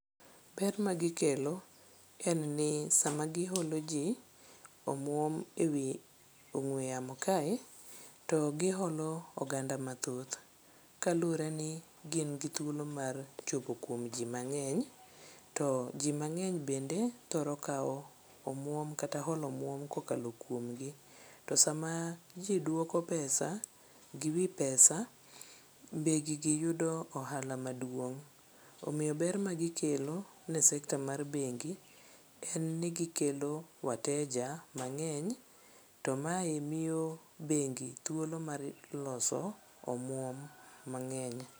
Ber magikelo en ni sama giholo ji omwom e wi ong'we yamo kae to giholo oganda mathoth kaluwre ni gin gi thuolo mar chopo kuom ji mang'eny to ji mang'eny bende thoro kawo omwom kata holo omwom kokalo kuomgi. To sama ji dwoko pesa gi wi pesa be gigi yudo ohala maduong', omiyo ber ma gikelo ne sekta mar bengi en ni gikelo wateja mang'eny to mae miyo bengi thuolo mar loso omwom mang'eny.